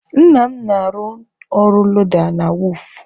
Nna m na-arụ ọrụ loda na wọọfụ.